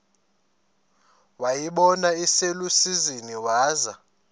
wayibona iselusizini waza